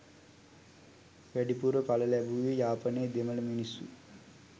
වැඩිපුර ඵල ලැබුවේ යාපනයේ දෙමළ මිනිස්සු.